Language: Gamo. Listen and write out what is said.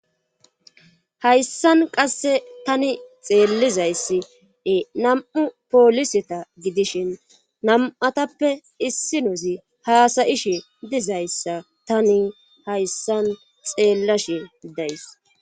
Hayssan qasse tani xeellizayssie nam'u pooliseta gidishin nam'atappe issinozi haasayishe dizayssa tani hayssan xeellashe days.